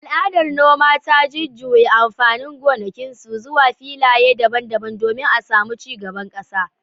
Al’adar noma ta jujjuya amfanin gonakinsu, zuwa filaye daban-daban domin a samu ci gaban kasa.